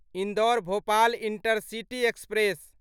Indore Bhopal intercity express